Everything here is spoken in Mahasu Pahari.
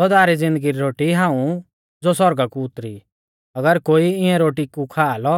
सौदा री ज़िन्दगी री रोटी हाऊं ज़ो सौरगा कु उतरी अगर कोई इऐं रोटी कु खा लौ